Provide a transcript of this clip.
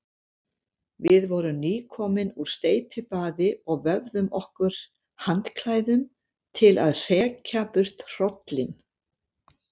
Við vorum nýkomin úr steypibaði og vöfðum okkur handklæðum til að hrekja burt hrollinn.